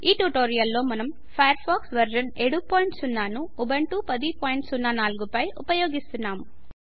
ఈ ట్యుటోరియల్లో Firefox version 70 ను ఉంబంటు 1004 పై ఉపయోగిస్తున్నాం